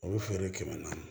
O bɛ feere kɛmɛ naani